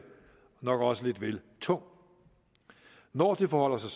nok også lidt vel tung når det forholder sig